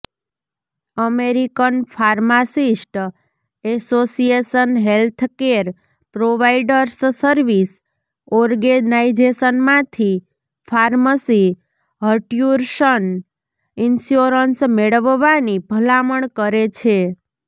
American pharmacist association healthcare providers service ઓર્ગેનાઇઝેશનમાંથી pharmacy હર્ટ્યૂશન insurance મેળવવાની ભલામણ કરે છે